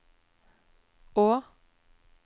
å